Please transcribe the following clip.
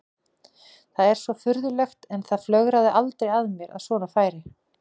Það er svo furðulegt en það flögraði aldrei að mér að svona færi.